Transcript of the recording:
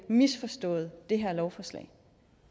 misforstået det her lovforslag